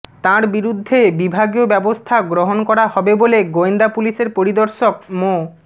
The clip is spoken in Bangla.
তাঁর বিরুদ্ধে বিভাগীয় ব্যবস্থা গ্রহণ করা হবে বলে গোয়েন্দা পুলিশের পরিদর্শক মো